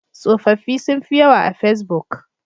Tsofaffi sun fi yawa a fesbuk.